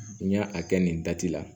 N y'a a kɛ nin dati la